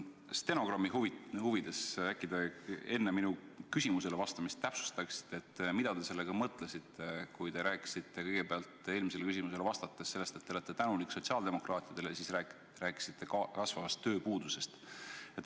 Stenogrammi huvides te äkki enne minu küsimusele vastamist täpsustaksite, mida te sellega mõtlesite, kui te rääkisite eelmisele küsimusele vastates kõigepealt, et te olete tänulik sotsiaaldemokraatidele, ja siis rääkisite kasvavast tööpuudusest.